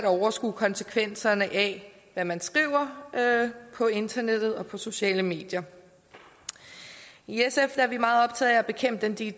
overskue konsekvenserne af hvad man skriver på internettet og på de sociale medier i sf er vi meget optaget af at bekæmpe de